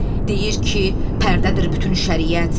Deyir ki, pərdədir bütün şəriət.